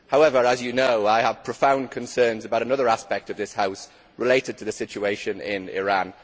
However, as you know, I have profound concerns about another aspect of this House, relating to the situation in Iran.